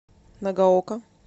нагаока